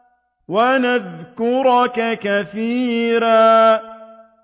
وَنَذْكُرَكَ كَثِيرًا